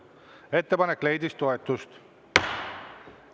Ettepanek leidis toetust.